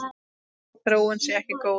Þessi þróun sé ekki góð.